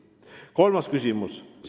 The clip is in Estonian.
See on maksimum.